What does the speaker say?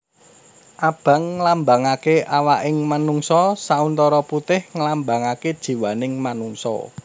Abang nglambangaké awaking manungsa sauntara putih nglambangaké jiwaning manungsa